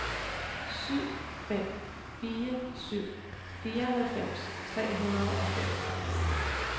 syv fem fire syv fireoghalvfems tre hundrede og fem